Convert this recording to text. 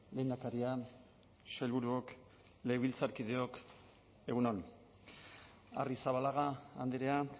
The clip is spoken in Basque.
lehendakaria sailburuok legebiltzarkideok egun on arrizabalaga andrea